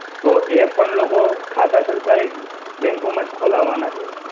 તો એ પણ લોકો ખાતા સરકારી bank માં જ ખોલાવાના છે.